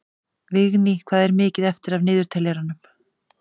Vigný, hvað er mikið eftir af niðurteljaranum?